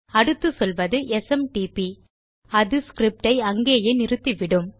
அடுத்து சொல்வது எஸ்எம்டிபி அது ஸ்கிரிப்ட் ஐ அங்கேயே நிறுத்தி விடும்